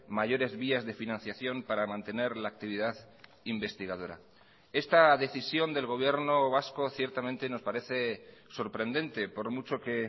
mayores vías de financiación para mantener la actividad investigadora esta decisión del gobierno vasco ciertamente nos parece sorprendente por mucho que